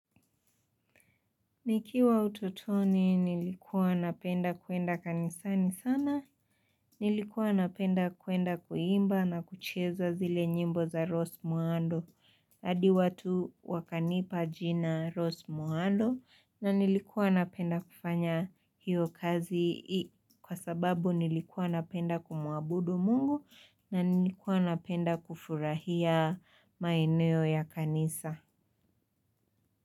Nikiwa ututoni nilikuwa napenda kuenda kanisani sana, nilikuwa napenda kuenda kuimba na kucheza zile nyimbo za Rose Muhando. Hadi watu wakanipa jina Rose Muhando na nilikuwa napenda kufanya hiyo kazi kwa sababu nilikuwa napenda kumuabudu mungu na nilikuwa napenda kufurahia maeneo ya kanisa.